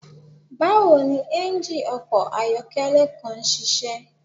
Bawo ni engine ọkọ ayọkẹlẹ kan ṣiṣẹ?